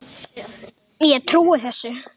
Ég trúi þessu.